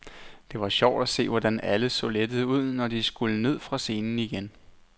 Det var sjovt at se, hvordan alle så lettede ud, når de skulle ned fra scenen igen.